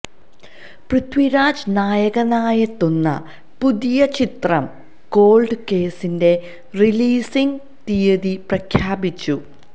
പൃഥ്വിരാജ് നായകനായെത്തുന്ന പുതിയ ചിത്രം കോൾഡ് കേസിന്റെ റിലീസിംഗ് തിയതി പ്രഖ്യാപിച്ചു